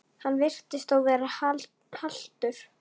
Hann virtist þó vera haltur.